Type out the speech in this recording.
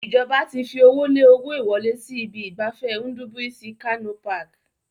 Ìjọba ti fi owó lé owó ìwọlé sí ibi ìgbafẹ́ Ndubuisi Kanu Park.